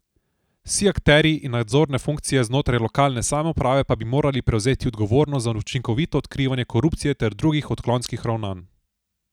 Vsi akterji in nadzorne funkcije znotraj lokalne samouprave pa bi morali prevzeti odgovornost za učinkovito odkrivanje korupcije ter drugih odklonskih ravnanj.